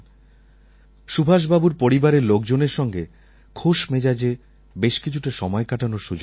সুভাষবাবুর পরিবারের লোকজনের সঙ্গে খোশ মেজাজে বেশ কিছুটা সময় কাটানোর সুযোগ হয়েছিল